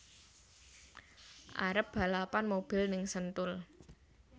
Arep balapan mobil ning Sentul